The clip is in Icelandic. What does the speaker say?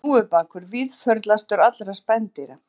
Hnúfubakur víðförlastur allra spendýra